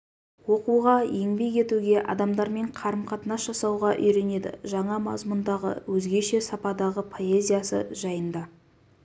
оқуға еңбек етуге адамдармен қарым-қатынас жасауға үйренеді жаңа мазмұндағы өзгеше сападағы поэзиясы жайында